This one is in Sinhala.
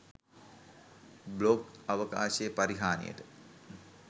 බ්ලොග් අවකාශයේ පරිහානියට